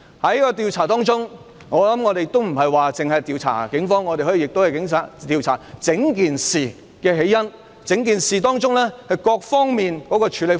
有關調查不會單單調查警方，可以調查整件事的起因，以及過程中各方面的處理方法。